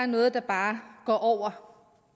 noget der bare går over